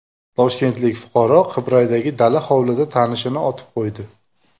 Toshkentlik fuqaro Qibraydagi dala hovlida tanishini otib qo‘ydi.